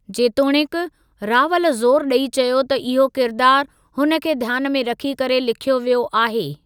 जेतोणीकि, रावल ज़ोरु ॾई चयो त इहो किरदार हुन खे ध्यानु में रखी करे लिख्यो वियो आहे।